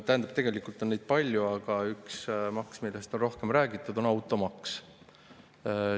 Tegelikult on neid palju, aga üks maks, millest on rohkem räägitud, on automaks.